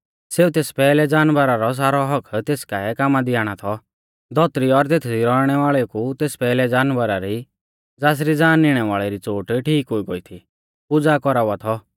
सेऊ तेस पैहलै जानवरा रौ सारौ हक्क तेस काऐ कामा दी आणा थौ धौतरी और तेथदी रौइणै वाल़ेऊ कु तेस पैहलै जानवरा री ज़ासरी ज़ान निणै वाल़ी चोट ठीक हुई गोई थी पुज़ा कौरावा थौ